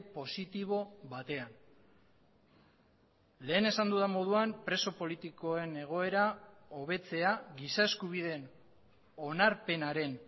positibo batean lehen esan dudan moduan preso politikoen egoera hobetzea giza eskubideen onarpenaren